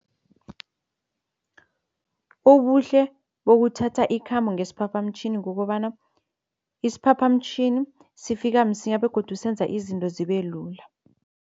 Ubuhle bokuthatha ikhambo ngesiphaphamtjhini kukobana isiphaphamtjhini sifika msinya begodu senza izinto zibe lula.